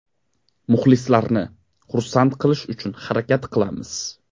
Muxlislarni xursand qilish uchun harakat qilamiz.